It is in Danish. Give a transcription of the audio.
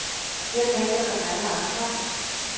Jeg tænker som alle andre.